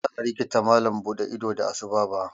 Ba za a rikita malam buɗe ido da asu ba.